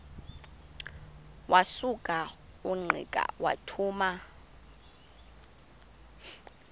wasuka ungqika wathuma